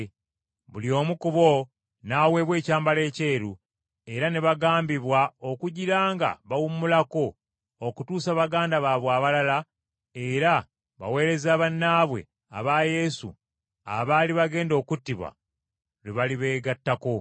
Buli omu ku bo n’aweebwa ekyambalo ekyeru, era ne bagambibwa okugira nga bawummulako okutuusa baganda baabwe abalala era baweereza bannaabwe aba Yesu abaali bagenda okuttibwa, lwe balibeegattako.